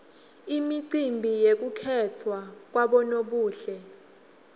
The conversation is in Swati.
imicimbi yekukhetfwa kwabonobuhle